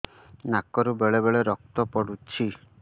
ନାକରୁ ବେଳେ ବେଳେ ରକ୍ତ ପଡୁଛି